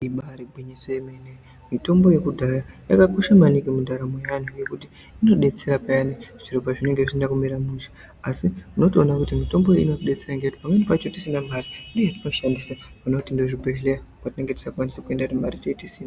Ibaari gwinyiso remene mitombo yekudhaya yakakosha maningi muntaramo ngendaa yekuti inodetsera payani zviro pezvinenge zvisina kumira mushe asi unotoone kuti mitombo iyi inotidetsera ngekuti pamweni pacho tisina mare ndiyo yetinoshandisa pane kuti tiende kuzvibhedhlera kwatinenge tisingakwanisi kuenda ngendaa yekuti tinenge tisina.